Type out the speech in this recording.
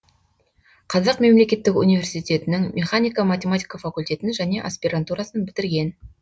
қазақ мемлекеттік университетінің механика математика факультетін және аспирантурасын бітірген